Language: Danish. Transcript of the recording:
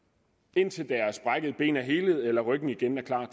indtil deres brækkede ben er helet eller ryggen igen er klar